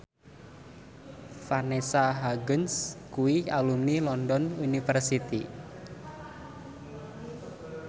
Vanessa Hudgens kuwi alumni London University